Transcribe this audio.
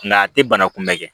Nka a tɛ bana kunbɛn kɛ